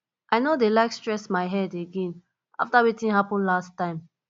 i no dey like stress my head again after wetin happen last time